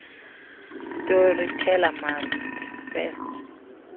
storyteller must first